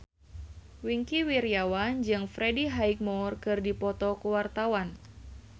Wingky Wiryawan jeung Freddie Highmore keur dipoto ku wartawan